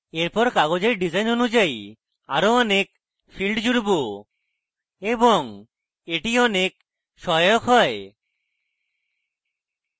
এরপর কাগজের ডিসাইন অনুযায়ী আরো অনেক fields জুড়ব এবং এটি অনেক সহায়ক হয়